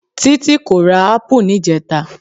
Títí kò ra ápù níjẹta.